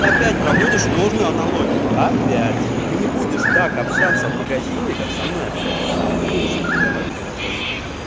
и опять проводишь ложную аналогию опять ты не будешь так общаться в магазине как со мной общаешься ты не будешь им задавать эти вопросы